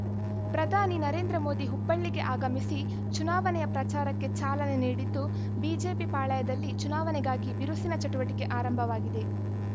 ಪ್ರಧಾನಿ ನರೇಂದ್ರ ಮೋದಿ ಹುಬ್ಬಳ್ಳಿಗೆ ಆಗಮಿಸಿ ಚುನಾವಣೆಯ ಪ್ರಚಾರಕ್ಕೆ ಚಾಲನೆ ನೀಡಿದ್ದು ಬಿಜೆಪಿ ಪಾಳಯದಲ್ಲಿ ಚುನಾವಣೆಗಾಗಿ ಬಿರುಸಿನ ಚಟುವಟಿಕೆ ಆರಂಭವಾಗಿದೆ